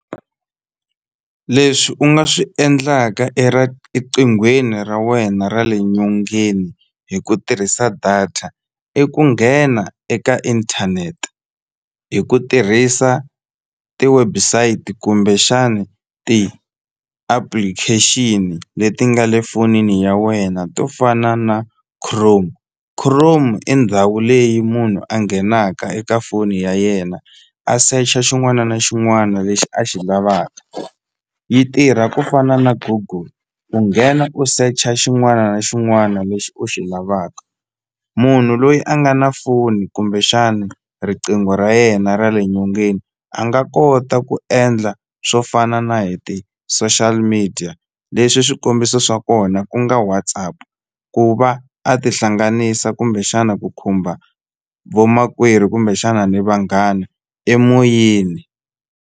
Leswi u nga swi endlaka ra wena ra le nyongeni hi ku tirhisa data i ku nghena eka inthanete hi ku tirhisa ti-website kumbexani ti-application leti nga le fonini ya wena to fana na Chrome, Chrome i ndhawu leyi munhu a nghenaka eka foni ya yena a secha xin'wana na xin'wana lexi a xi lavaka yi tirha ku fana na Google u nghena u secha xin'wana na xin'wana lexi u xi lavaka munhu loyi a nga na foni kumbexana riqingho ra yena ra le nyongeni a nga kota ku endla swo fana na hi ti-social media leswi swikombiso swa kona ku nga WhatsApp ku va a tihlanganisa kumbexana ku khumba vomakwerhu kumbexana ni vanghana emoyeni.